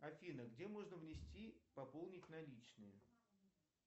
афина где можно внести пополнить наличные